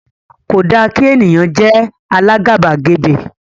kò dá kí ènìyàn jé àlà àgàbàgebè